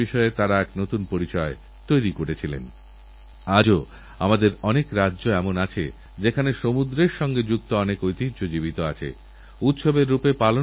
শুধু এই নয়আমাদের বাড়িতে যে মহিলা রান্না করেন যে মহিলা বাড়ি পরিষ্কার করেন বা পরিচিত কোনওগরীব মায়ের মেয়েকে এই রাখীবন্ধন উৎসবে আপনি সুরক্ষা বীমা যোজনা বা জীবনজ্যোতিবীমা যোজনা উপহার দিতে পারেন